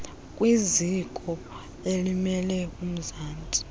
kwiziko elimele umzantsi